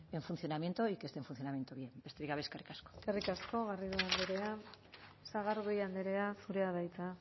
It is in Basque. en funcionamiento y que esté en funcionamiento bien besterik gabe eskerrik asko eskerrik asko garrido andrea sagardui andrea zurea da hitza